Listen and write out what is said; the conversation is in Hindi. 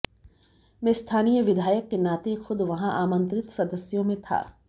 मैं स्थानीय विधायक के नाते खुद वहां आमंत्रित सदस्यों में था